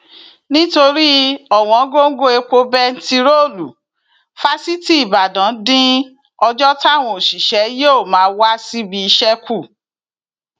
nítorí ọwọngọgọ epo bẹntiróòlù fásitì ìbàdàn dín ọjọ táwọn òṣìṣẹ yóò máa wá síbi iṣẹ kù